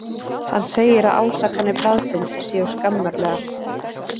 Hann segir að ásakanir blaðsins séu skammarlegar.